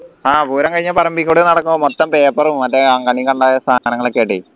ആ പൂരം കഴിഞ്ഞ പറമ്പിൽ കൂടെ നടക്കുമ്പോ മൊത്തം paper സാധനങ്ങൾ ഒക്കെ ആയിട്ടേ